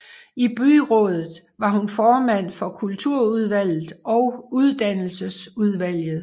I byrådet var hun formand for Kulturudvalget og Uddannelsesudvalget